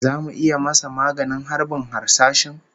Zamu iya masa maganin harbin harsashin?